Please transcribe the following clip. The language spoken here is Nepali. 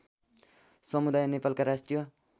समुदाय नेपालका राष्ट्रिय